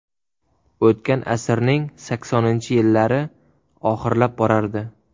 O‘tgan asrning saksoninchi yillari oxirlab borardi.